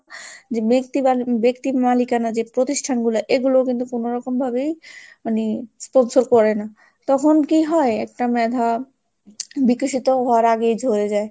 যে ব্যক্তি~ ব্যক্তির মালিকানা যে প্রতিষ্ঠানগুলো এগুলো কিন্তু কোনোরকম ভাবেই মানে sponsor করে না। তখন কি হয় একটা মেধা বিকশিত হওয়ার আগেই ঝড়ে যায়।